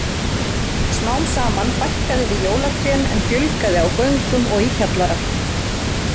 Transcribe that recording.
Smám saman fækkaði við jólatrén en fjölgaði á göngum og í kjallara.